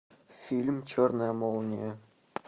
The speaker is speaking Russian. фильм черная молния